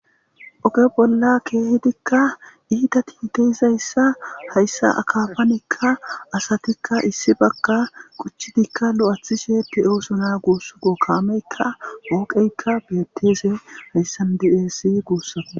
oge bolla keehidikka iita tinte izayssa hayssa akafanekka asatikka issi bagga kuchchidikka lu7athishe pioosuna guussu go kaameykka gussakko beetteze hayssan diesi guussako